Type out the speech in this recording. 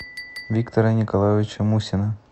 виктора николаевича мусина